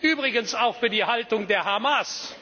Übrigens auch für die Haltung der Hamas.